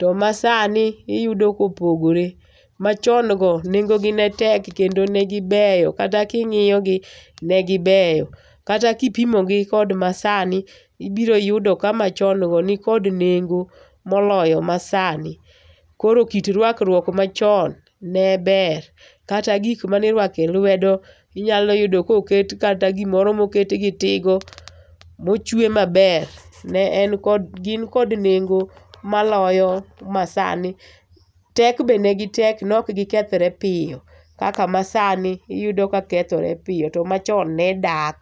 To masani iyudo kopogore. Machon go nengo gi ne tek kendo ne gibeyo kata king'iyogi, ne gibeyo. Kata kipimogi kod masani ibiro yudo ka machon go ni kod nengo moloyo masani. Koro kit ruakruok machon ne ber kata gik mane irwako e lwedo, inyalo yudo ka oket kata gimoro moket gi tigo mochwe maber ne en kod gin kod nengo maloyo masani. Tek be ne gitek, ne ok gikethre piyo kaka masani iyudo ka kethore piyo to machon ne dak.